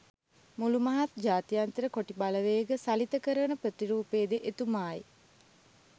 මුළු මහත් ජාත්‍යන්තර කොටි බලවේග සලිත කරවන ප්‍රතිරූපයද එතුමායි.